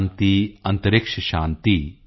ਸ਼ਾਂਤੀ ਅੰਤਰਿਕਸ਼ੰ ਸ਼ਾਂਤੀ